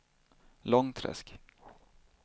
Långträsk